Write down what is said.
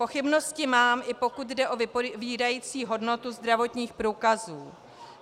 Pochybnosti mám, i pokud jde o vypovídající hodnotu zdravotních průkazů.